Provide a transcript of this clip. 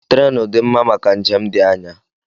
Treenụ dị mma maka njem dị anya.